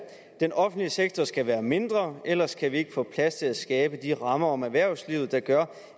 den offentlige sektor skal være mindre ellers kan vi ikke få plads til at skabe de rammer om erhvervslivet der gør